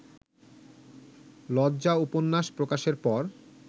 লজ্জা উপন্যাস প্রকাশের পর